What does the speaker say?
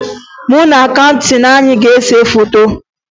Mụ na kaptịn anyị ga-ese foto